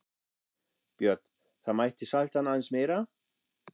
Björn: Það mætti salta hann aðeins meira?